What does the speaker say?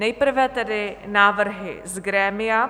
Nejprve tedy návrhy z grémia.